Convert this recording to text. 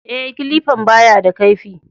E, kilifan ba ya da kaifi.